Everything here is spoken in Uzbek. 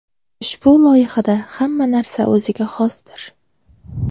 Ushbu loyihada hamma narsa o‘ziga xosdir.